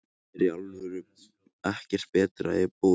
Þrettán særðust í tilræðinu í gærkvöldi